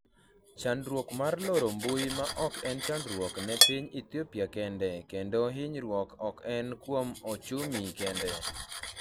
chandruok mar loro mbui ma ok en chandruok ne piny Ethiopia kende kendo hinyruok ok en kuom ochumi kende